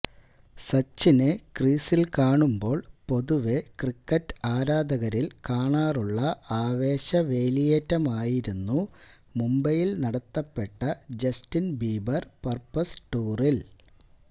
സച്ചിനെ ക്രീസില് കാണുമ്പോള് പൊതുവെ ക്രിക്കറ്റ് ആരാധകരില് കാണാറുള്ള ആവേശ വേലിയേറ്റമായിരുന്നു മുംബൈയില് നടത്തപ്പെട്ട ജസ്റ്റിന് ബീബര് പര്പ്പസ് ടൂറില്